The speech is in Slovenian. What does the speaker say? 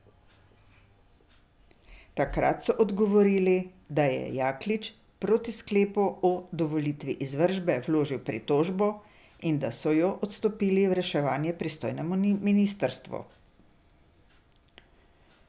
Takrat so odgovorili, da je Jaklič proti sklepu o dovolitvi izvršbe vložil pritožbo in da so jo odstopili v reševanje pristojnemu ministrstvu.